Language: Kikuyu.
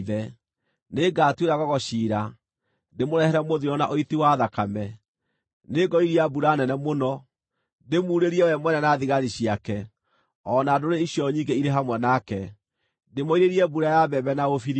Nĩngatuĩra Gogu ciira, ndĩmũrehere mũthiro na ũiti wa thakame; nĩngoiria mbura nene mũno, ndĩmuurĩrie we mwene na thigari ciake, o na ndũrĩrĩ icio nyingĩ irĩ hamwe nake, ndĩmoirĩrie mbura ya mbembe na ũbiriti.